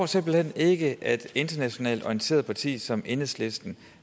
simpelt hen ikke et internationalt orienteret parti som enhedslisten